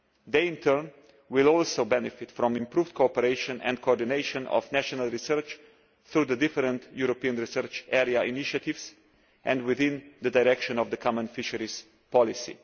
They, in turn, will also benefit from improved cooperation and coordination of national research, through the different European Research Area initiatives and within the direction of the common fisheries policy.